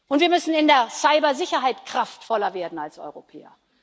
Und wir müssen in der Cybersicherheit kraftvoller werden als Europäer.